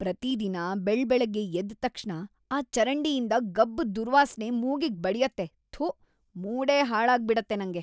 ಪ್ರತಿದಿನ ಬೆಳಬೆಳಗ್ಗೆ ಎದ್ದ್‌ ತಕ್ಷಣ ಆ ಚರಂಡಿಯಿಂದ‌ ಗಬ್ಬು ದುರ್ವಾಸ್ನೆ ಮೂಗಿಗ್‌ ಬಡ್ಯತ್ತೆ..‌ ಥು, ಮೂಡೇ ಹಾಳಾಗ್ಬಿಡತ್ತೆ ನಂಗೆ.